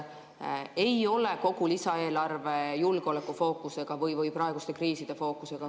Ei ole kogu lisaeelarve julgeolekufookusega või praeguste kriiside fookusega.